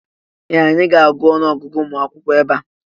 Ee! Anyị ga-agụ ọnụọgụgụ ụmụ akwụkwọ ebe a.